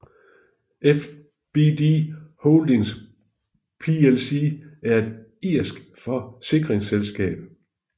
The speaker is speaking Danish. FBD Holdings plc er et irsk forsikringsselskab